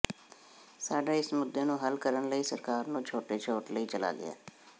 ਸਾਡਾ ਇਸ ਮੁੱਦੇ ਨੂੰ ਹੱਲ ਕਰਨ ਲਈ ਸਰਕਾਰ ਨੂੰ ਛੋਟੇ ਛੋਟ ਲਈ ਚਲਾ ਗਿਆ